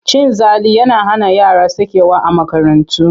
Cin zali yana hana yara sakewa a makarantu.